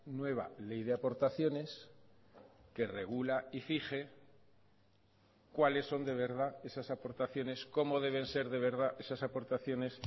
nueva ley de aportaciones que regula y fije cuáles son de verdad esas aportaciones cómo deben ser de verdad esas aportaciones